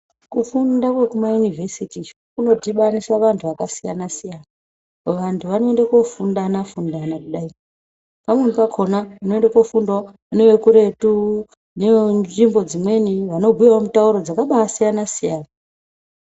Kufunda kwekuma yunivesiti iyo kunodhibanisa vantu vakasiyanasiyana vantu vanoende kofundana fundana kudai pamweni pakona unoende kofundawo nevekuretu nevenzvimbo dzimweni vanobhuyawo mitauro dzakaba asiyanasiyana.